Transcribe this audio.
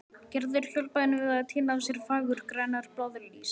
Gerður hjálpaði henni við að tína af sér fagurgrænar blaðlýs.